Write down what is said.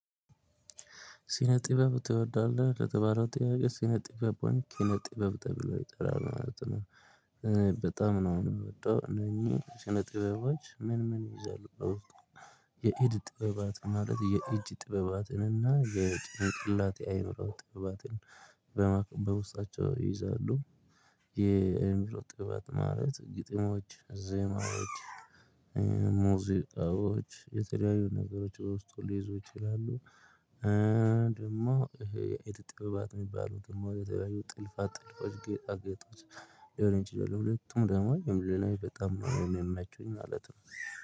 ሲነጥበብ ትወዳለህ ለተባለው ጥያቄ ሲነጥበብ ቦን ኪነጥበብ ተብሎ ይጠራል ማለት ነው። በጣም ነው የምወደው እነኚህ ኪነጥበቦች ምን ምን ይይዛሉ? የኤድ ጥበባት ማለት የኢጅ ጥበባትን እና የጭንቅላት አይምሮ ጥበባትን በማህል በውስጣቸው ይይዛሉ። የኤምሮ ጥበባት ማለት ግጥሞች ዜማዎች። ሙዚቃዎች የተለያዩ ነገሮች በውስጡ ሊይዙ ይችላሉ። ደግሞ የት ጥበባት የሚባሉት ደግሞ የተለያዩ ጥልፋት ጥልፎች ጌጣጌጦች። ያው እንጭይዛለው ሁለቱም ደግሞ የምልህ ነው በጣም ነው የመቹኝ ማለት ነው።